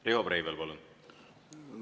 Riho Breivel, palun!